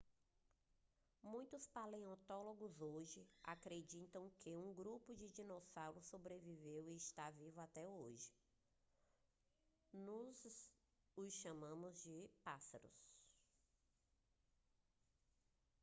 muitos paleontólogos hoje acreditam que um grupo de dinossauros sobreviveu e está vivo até hoje nós os chamamos de pássaros